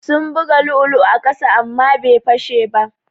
Sun buga lu'ulu'u a ƙasa amma bai fashe ba.